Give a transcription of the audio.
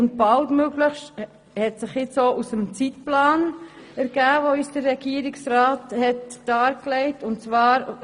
Zudem hat sich «baldmöglichst» auch aus dem Zeitplan ergeben, den uns der Regierungsrat dargelegt hat.